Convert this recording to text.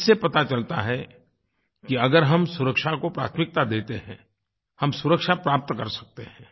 इससे पता चलता है कि अगर हम सुरक्षा को प्राथमिकता देते हैं हम सुरक्षा प्राप्त कर सकते हैं